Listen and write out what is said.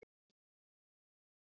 Hann var djarfmæltur við tigna menn.